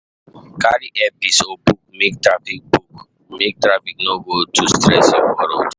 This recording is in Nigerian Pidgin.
Carry earpiece or book make traffic no go too stress you for road.